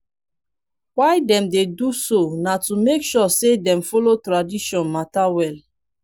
why dem dey do so na to make sure say dem follow tradition mata wella